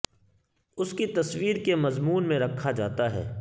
اس کی تصویر کے مضمون میں رکھا جاتا ہے